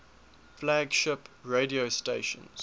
flagship radio stations